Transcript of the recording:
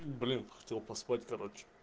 блин хотел поспать короче